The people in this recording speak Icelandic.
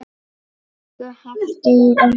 Elsku Halldór okkar.